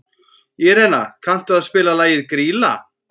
Írena, kanntu að spila lagið „Grýla“?